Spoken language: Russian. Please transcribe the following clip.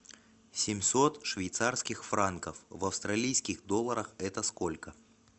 семьсот швейцарских франков в австралийских долларах это сколько